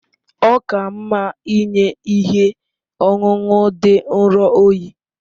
Ọ ka mma inye ihe ọṅụṅụ dị nro oyi